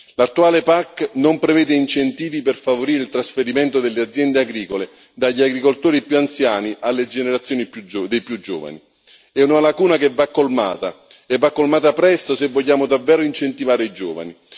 L'attuale PAC non prevede incentivi per favorire il trasferimento delle aziende agricole dagli agricoltori più anziani alle generazioni più giovani. È una lacuna che va colmata, e va colmata presto, se vogliamo davvero incentivare i giovani.